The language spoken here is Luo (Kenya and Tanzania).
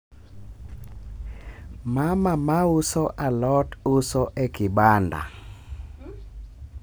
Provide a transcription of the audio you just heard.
mama ma uso a lot uso e kibanda